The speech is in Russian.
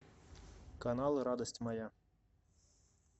канал радость моя